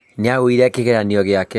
Niaguire kigeranio giake.